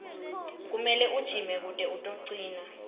kumele ujime kute utocina